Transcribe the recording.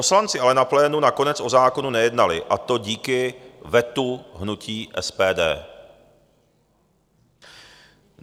Poslanci ale na plénu nakonec o zákonu nejednali, a to díky vetu hnutí SPD.